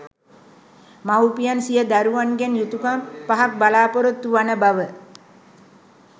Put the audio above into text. මවුපියන් සිය දරුවන්ගෙන් යුතුකම් පහක් බලාපොරොත්තු වන බව